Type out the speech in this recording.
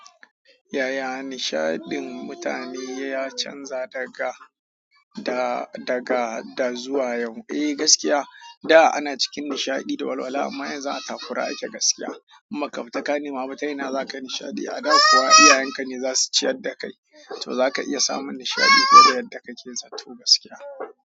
Yaya nishadin mutane ya canza daga, da daga da zuwa yau? Eh gaskiya, da ana cikin nishadi da walwala amma yanzu atakkura ake gaskiya. Amma kaf ta kani mama ta yana zaka nishadi a da kuwa iyayenka ne zasu ci yadda kai. Tou zaka iya samun nishadi fiye da yadda kakeso gaskiya.